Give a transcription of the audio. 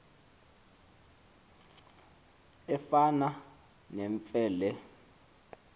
efana nemfe le